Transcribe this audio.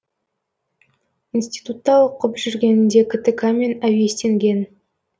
институтта оқып жүргенінде ктк мен әуестенген